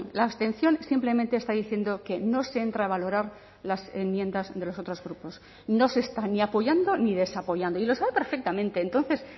la abstención simplemente está diciendo que no se entra a valorar las enmiendas de los otros grupos no se están ni apoyando ni desapoyando y lo sabe perfectamente entonces